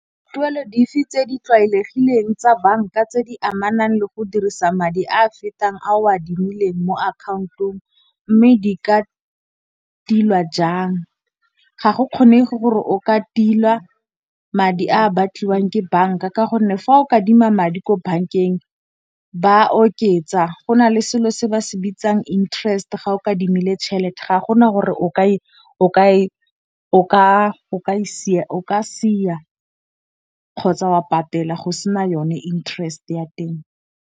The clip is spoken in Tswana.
Tuelo dife tse di tlwaelegileng tsa banka tse di amanang le go dirisa madi a a fetang a o a adimileng mo account-ong mme di ka tilwa jang. Ga go kgonege gore o ka tilwa madi a a batliwang ke banka ka gonne fa o ka adima madi ko bank-eng ba oketsa. Go nale selo se ba se bitsang interest ga o kadimile tšhelete ga gona gore o ka sia kgotsa wa patela go sena yone interest ya teng.